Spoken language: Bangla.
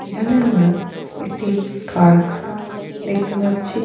এখানে আমরা একটি কারখানা দেখতে পাচ্ছি ।